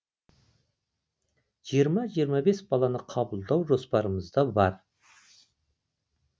жиырма жиырма бес баланы қабылдау жоспарымызда бар